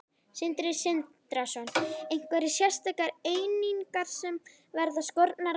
Sindri Sindrason: Einhverjar sérstakar einingar sem verða skornar af?